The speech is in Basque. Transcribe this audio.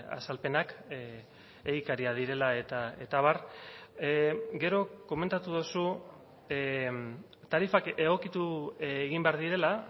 azalpenak egikariak direla eta abar gero komentatu duzu tarifak egokitu egin behar direla